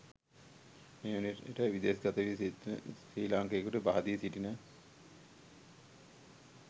මේවන විට විදෙස් ගත ශ්‍රී ලාංකිකයකුට බහදී සිටින